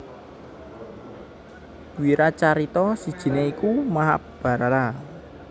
Wiracarita sijiné iku Mahabharata